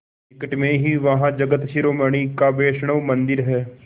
निकट में ही वहाँ जगत शिरोमणि का वैष्णव मंदिर है